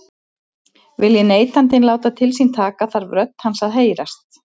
Vilji neytandinn láta til sín taka þarf rödd hans að heyrast.